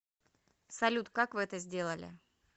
салют как вы это сделали